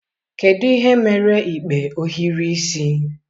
Kedu ihe mere ikpe ohiri isi?